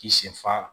K'i sen fa